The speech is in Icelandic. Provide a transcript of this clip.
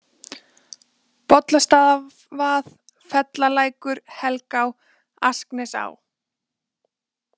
Bollastaðavað, Fellalækur, Helgá, Asknesá